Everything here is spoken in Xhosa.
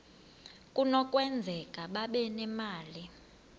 kunokwenzeka babe nemali